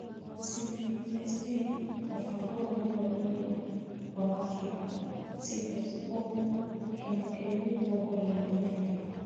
(CESA) Mũbango wa Gũthomithia wa Abirika (CSO) Kĩama Kĩrĩa Gĩtongoragio nĩ Andũ